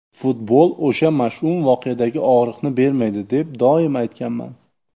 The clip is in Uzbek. Futbol o‘sha mash’um voqeadagi og‘riqni bermaydi deb doim aytganman.